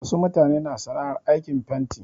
Wasu mutanen na sana'ar aikin fanti.